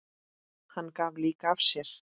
Hann gaf líka af sér.